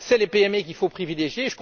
Ce sont les PME qu'il faut privilégier!.